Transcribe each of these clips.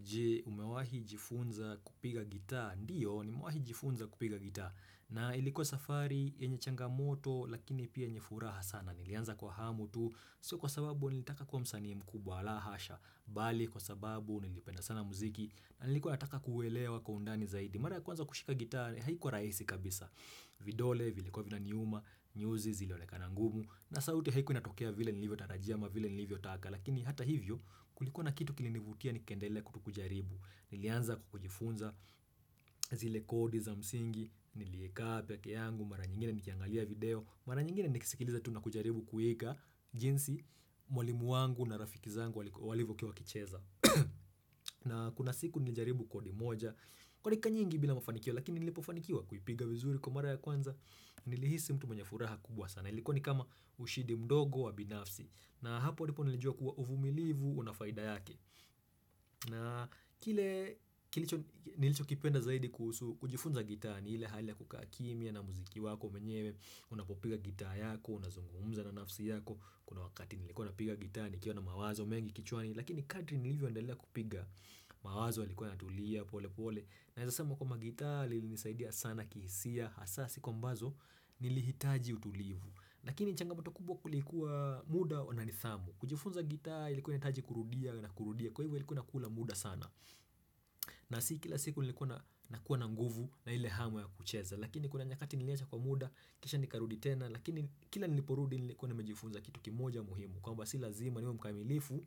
Je umewahi jifunza kupiga gita ndiyo nimewahi jifunza kupiga gita na ilikuwa safari yenye changamoto lakini pia yenye furaha sana nilianza kwa hamu tu sio kwa sababu nilitaka kuwa msanii mkubwa la hasha bali kwa sababu nilipenda sana muziki na nilikuwa nataka kuelewa kwa undani zaidi. Mara ya kwanza kushika gita haikuwa rahisi kabisa vidole, vilikuwa vinaniuma, nyuzi zilionekana ngumu na sauti haikuwa inatokea vile nilivyotarajia ama vile nilivyotaka Lakini hata hivyo kulikuwa na kitu kilinivutia nikaendelea tu kujaribu Nilianza kujifunza zile kodi za msingi, nilieka peke yangu Mara nyingine nikiangalia video, mara nyingine nikisikiliza tu na kujaribu kueka jinsi mwalimu wangu na rafiki zangu walivyokuwa wakicheza na kuna siku nilijaribu kodi moja Kwa dakika nyingi bila mafanikio lakini nilipofanikiwa kuipiga vizuri kwa mara ya kwanza nilihisi mtu mwenye furaha kubwa sana ilikuwa ni kama ushindi mdogo wa binafsi na hapo ndipo nilijua kuwa uvumilivu una faida yake. Na kile kilicho nilichokipenda zaidi kuhusu kujifunza gita ni ile hali ya kukaa kimya na muziki wako mwenyewe unapopiga gita yako na kuzungumza na nafsi yako kuna wakati nilikuwa napiga gita nikiwa na mawazo mengi kichwani lakini kadri nilivyoendelea kupiga mawazo yalikuwa yanatulia polepole. Naeza sema kwamba gita lilinisaidia sana kihisia hasa siku ambazo nilihitaji utulivu Lakini changamoto kubwa kulikuwa muda wananithamu kujifunza gita ilikuwa inahitaji kurudia na kurudia Kwa hivyo ilikuwa inakula muda sana nasi kila siku nilikuwa nakuwa na nguvu na ile hamu ya kucheza Lakini kuna nyakati niliacha kwa muda Kisha nikarudi tena Lakini kila niliporudi nilikuwa nimejifunza kitu kimoja muhimu kwamba si lazima niwe mkamilifu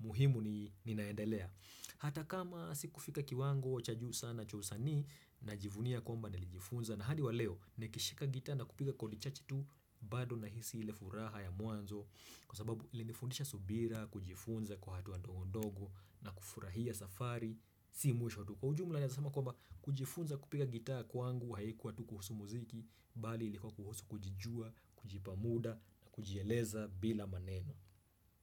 muhimu ni ninaendelea hata kama sikufika kiwango cha juu sana cha usanii najivunia kwamba nilijifunza na hadi wa leo nikishika gita na kupiga kodi chache tu bado nahisi ile furaha ya mwanzo kwa sababu ilinifundisha subira, kujifunza kwa hatua ndogo ndogo na kufurahia safari, si mwisho tu kwa ujumla naeza sema kwamba kujifunza kupiga gita kwangu haikuwa tu kuhusu muziki, bali ilikuwa kuhusu kujijua, kujipa muda na kujieleza bila maneno.